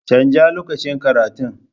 Canja lokacin karatun.